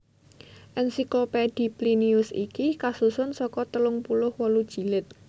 Ensiklopédhi Plinius iki kasusun saka telung puluh wolu jilid